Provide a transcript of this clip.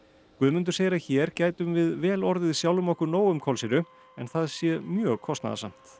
Guðmundur segir að hér gætum við vel orðið sjálfum okkur nóg um kolsýru en það sé mjög kostnaðarsamt